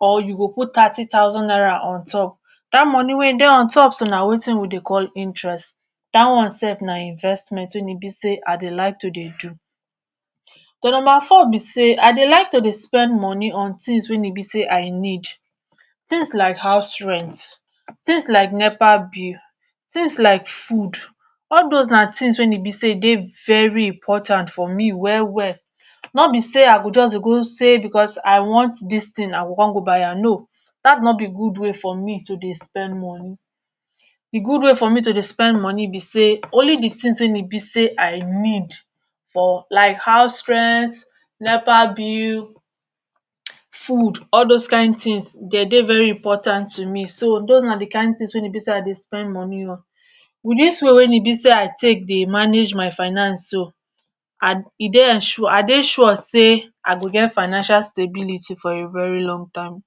or you go put thirty thousand naira on top, dat money wey dey on top so na wetin dem dey call interest dat one self na investment wey e be sey I dey like to dey do. Number 4 be sey I dey like to dey spend money on things wey e be sey I need. Things like house rent, things like nepa bill, things like food all those na things wey e be sey dey very important for me well well., no be sey I go just dey go say because I want dis thing I go come go buy am, no! dat no be good way for me to dey spend money. De good way for me to dey spend money be sey, only de things wey e be sey I need for like house rent, nepa bill, food all those kind things dey dey very important to me. So those na de kind things wey e be sey I dey spend money on. With dis way when e be sey I take dey manage my finance so, and e dey ensure I dey sure sey I go get financial stability for a very long time.